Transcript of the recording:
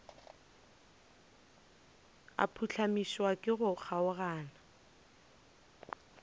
a phuhlamišwa ke go kgaogana